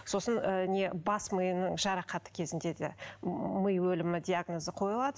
сосын ы не бас миының жарақаты кезінде де м ми өлімі диагнозы қойылады